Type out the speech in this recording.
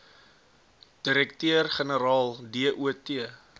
direkteur generaal dot